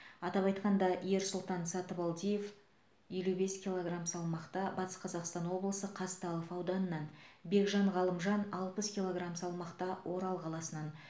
атап айтқанда ерсұлтан сатыбалдиев елу бес килограмм салмақта батыс қазақстан облысы қазталов ауданынан бекжан ғалымжан алпыс килограмм салмақта орал қаласынан